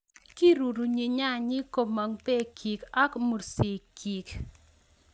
Kirurunyi nyanyik komong' bekyik ak mursikikyik.